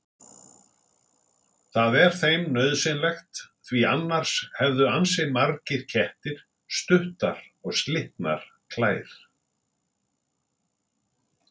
Það er þeim nauðsynlegt því annars hefðu ansi margir kettir stuttar og slitnar klær.